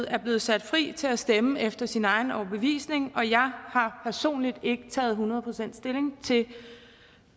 er blevet sat fri til at stemme efter sin egen overbevisning og jeg har personligt ikke taget hundrede procent stilling til